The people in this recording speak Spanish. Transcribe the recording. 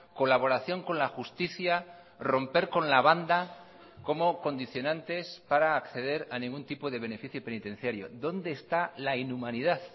colaboración con la justicia romper con la banda como condicionantes para acceder a ningún tipo de beneficio penitenciario dónde está la inhumanidad